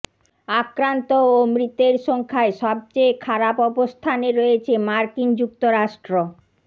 আক্রান্ত ও মৃতের সংখ্যায় সবচেয়ে খারাপ অবস্থানে রয়েছে মার্কিন যুক্তরাষ্ট্র